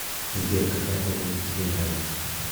сбер какая погода тебе нравится